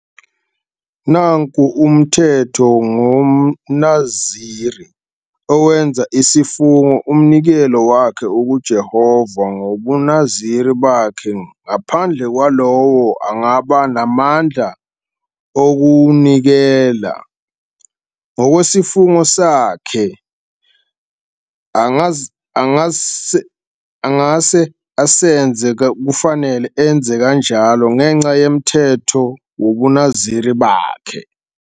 21 "'Nanku umthetho ngomNaziri owenza isifungo-umnikelo wakhe kuJehova ngobuNaziri bakhe, ngaphandle kwalowo angaba namandla okuwunikela. Ngokwesifungo sakhe angase asenze, kufanele enze kanjalo ngenxa yomthetho wobuNaziri bakhe.'"